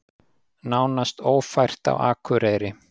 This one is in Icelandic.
Nánast ófært á Akureyri